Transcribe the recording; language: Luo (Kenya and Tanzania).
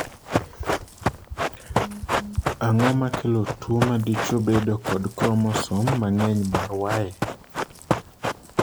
Ang'o makelo tuwo ma dichwo bedo kod kromosom mang'eny mar Y?